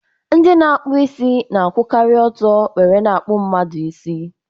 Ndị na-akpụ isi na-akwukari ọtọ were n' akpu mmadu isi